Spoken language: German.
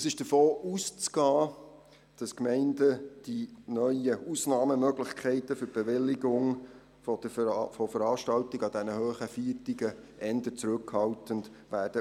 Es ist davon auszugehen, dass die Gemeinden eher zurückhaltend von den neuen Ausnahmemöglichkeiten für die Bewilligung von Veranstaltungen an hohen Feiertagen Gebrauch machen werden.